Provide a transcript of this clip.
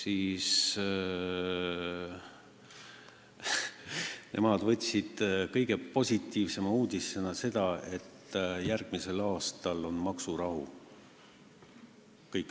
Nemad võtsid kõige positiivsema uudisena seda, et järgmisel aastal on maksurahu.